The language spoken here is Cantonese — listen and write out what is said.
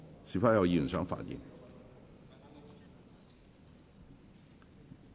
是否有議員想發言？